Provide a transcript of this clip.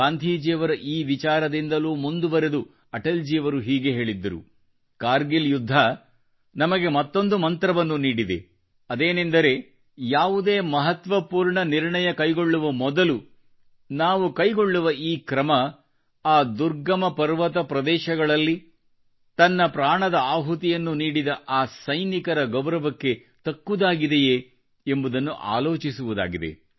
ಗಾಂಧೀಜಿಯವರ ಈ ವಿಚಾರದಿಂದಲೂ ಮುಂದುವರಿದು ಅಟಲ್ ಜಿಯವರು ಹೀಗೆ ಹೇಳಿದ್ದರು ಕಾರ್ಗಿಲ್ ಯುದ್ಧ ನಮಗೆ ಮತ್ತೊಂದು ಮಂತ್ರವನ್ನು ನೀಡಿದೆ ಅದೇನೆಂದರೆ ಯಾವುದೇ ಮಹತ್ವಪೂರ್ಣ ನಿರ್ಣಯ ಕೈಗೊಳ್ಳುವ ಮೊದಲು ನಾವು ಕೈಗೊಳ್ಳುವ ಈ ಕ್ರಮ ಆ ದುರ್ಗಮ ಪರ್ವತ ಪ್ರದೇಶಗಳಲ್ಲಿ ತನ್ನ ಪ್ರಾಣದ ಆಹುತಿಯನ್ನು ನೀಡಿದ ಆ ಸೈನಿಕರ ಗೌರವಕ್ಕೆ ತಕ್ಕುದಾಗಿದೆಯೇ ಎಂಬುದನ್ನು ಆಲೋಚಿಸುವುದಾಗಿದೆ